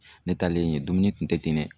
Ne taalen yen dumuni kun tɛ ten dɛ.